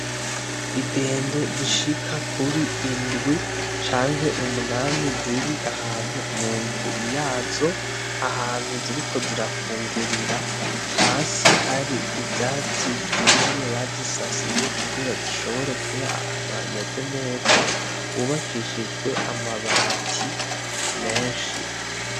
Idendo zishika kuri indwi canke umunani ziri ahantu munzu yazo ahantu ziriko zirafungurira hasi hari ivyatsi vyumye bazisasiye kugira zishobore kuba ahantu hameze neza hubakishijwe amabati menshi.